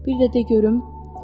Bir də de görüm.